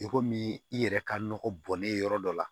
I komi i yɛrɛ ka nɔgɔ bɔnnen yɔrɔ dɔ la